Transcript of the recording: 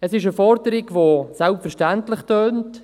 Es ist eine Forderung, die selbstverständlich tönt.